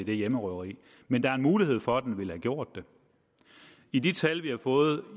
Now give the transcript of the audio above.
det hjemmerøveri men der er en mulighed for at den ville have gjort det i de tal vi har fået